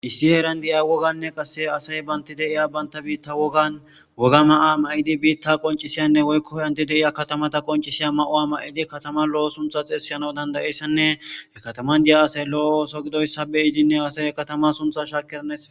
issi heeran di7ia woganne qasse asay banti deiya banta biitta wogan woga ma7a ma7idi biitta qoncisiyanne woykko yhanti deiya katamata qoncisiya ma7o a ma7idi katama lo7o suntha xeessiyana dandayeyssanne he kataman diya asay lo7o so gidoy sabe iidinne asay katama suntha shaakernes